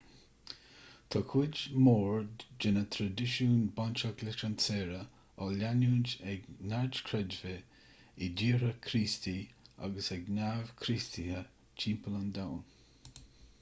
tá cuid mhór de na traidisiúin bainteach leis an tsaoire á leanúint ag neamhchreidmhigh i dtíortha críostaí agus ag neamh-chríostaithe timpeall an domhain